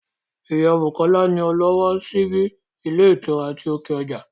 Ìyá Bùkọ́lá ni ọlọ́wọ́ ọ síbí ilé ìtura ti òkè ọjà